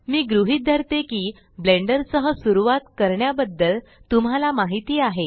मी गृहीत धरते की ब्लेंडर सह सुरवात करण्या बद्दल तुम्हाला माहिती आहे